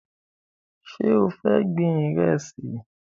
Ṣé o fẹ́ gbin Ìrẹ́sì?